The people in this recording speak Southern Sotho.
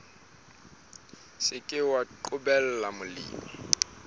se ke wa qobella molemi